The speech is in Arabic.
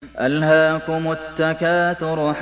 أَلْهَاكُمُ التَّكَاثُرُ